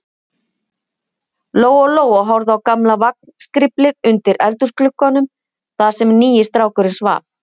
Lóa-Lóa horfði á gamla vagnskriflið undir eldhúsglugganum, þar sem nýi strákurinn svaf.